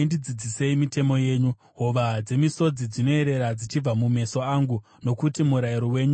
Hova dzemisodzi dzinoerera dzichibva mumeso angu, nokuti murayiro wenyu hausi kuteererwa.